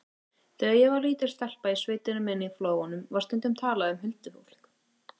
Þegar ég var lítil stelpa í sveitinni minni í Flóanum var stundum talað um huldufólk.